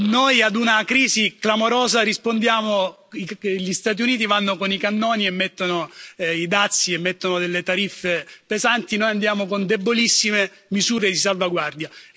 Noi a una crisi clamorosa rispondiamo gli Stati Uniti vanno con i cannoni e mettono i dazi e mettono tariffe pesanti noi andiamo con debolissime misure di salvaguardia.